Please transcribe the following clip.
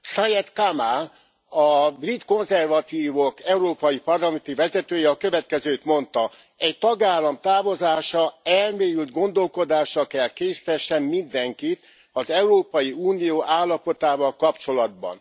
Syed Kamall, a brit konzervatívok európai parlamenti vezetője a következőt mondta egy tagállam távozása elmélyült gondolkozásra kell késztessen mindenkit az Európai Unió állapotával kapcsolatban.